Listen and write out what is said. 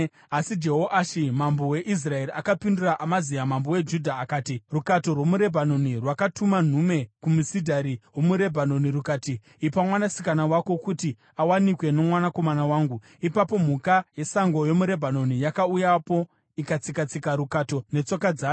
Asi Jehoashi mambo weIsraeri akapindura Amazia mambo weJudha akati, “Rukato rwomuRebhanoni rwakatuma nhume kumusidhari womuRebhanoni, rukati, ‘Ipa mwanasikana wako kuti awanikwe nomwanakomana wangu.’ Ipapo mhuka yesango yomuRebhanoni yakauyapo ikatsika-tsika rukato netsoka dzayo.